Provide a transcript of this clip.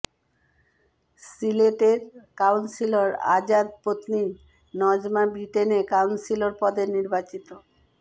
সিলেটের কাউন্সিলর আজাদ পত্নী নজমা ব্রিটেনে কাউন্সিলর পদে নির্বাচিত